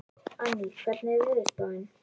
Anný, hvernig er veðurspáin?